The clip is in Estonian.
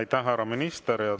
Aitäh, härra minister!